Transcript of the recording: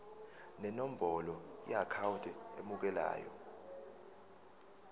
nenombolo yeakhawunti emukelayo